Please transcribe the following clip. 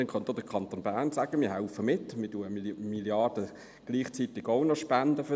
Dann könnte auch der Kanton Bern sagen, er helfe mit: «Wir spenden gleichzeitig auch noch eine Milliarde dafür.